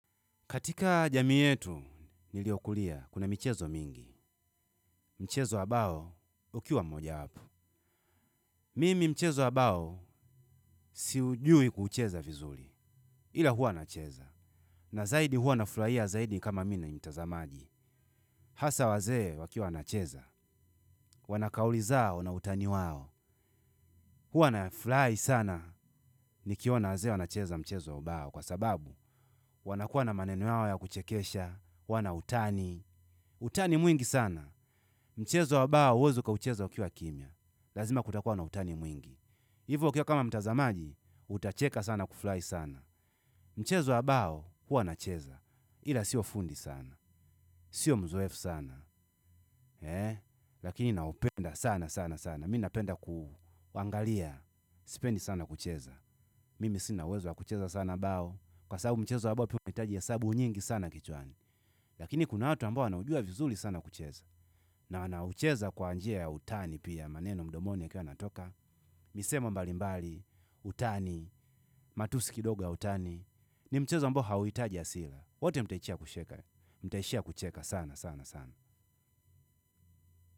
Katika jamii yetu, niliokulia, kuna michezo mingi. Mchezo ambao ukiwa mojawapo. Mimi mchezo ambao siujui kuucheza vizuri ila huwa nacheza. Na zaidi huwa nafurahia zaidi kama mi ni mtazamaji. Hasa wazee wakiwa wanacheza. Wana kauli zao na utani wao. Huwa nafurahi sana, nikiona wazee wanacheza mchezo wa ubao. Kwa sababu, wanakuwa na maneno yao ya kuchekesha, huwa na utani. Utani mwingi sana. Mchezo wa bao huwezi ukaucheza ukiwa kimya lazima kutakuwa na utani mwingi. Hivo ukiwa kama mtazamaji utacheka sana kufurahi sana mchezo wa bao huwa nacheza ila siyo fundi sana sio mzoefu sana lakini naupenda sana sana sana, mi napenda kuangalia sipendi sana kucheza mimi sina uwezo wa kucheza sana bao kwa sababu mchezo wa bao pia unahitaji hesabu nyingi sana kichwani lakini kuna watu ambao wanaujua vizuri sana kucheza na wanaucheza kwa njia ya utani pia maneno mdomoni yakiwa yanatoka misemo mbalimbali, utani, matusi kidogo ya utani ni mchezo ambao hauhitaji hasira wote mtaishia kucheka, mtaishia kucheka sana sana sana.